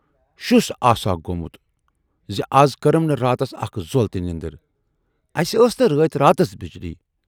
شُس آسہا گومُت زِ از کٔرٕم نہٕ راتس اکھ زۅل تہِ نٮ۪ندٕر، اَسہِ ٲس نہٕ رٲتۍ راتس بجلی